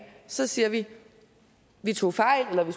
så siger vi at vi tog fejl eller at vi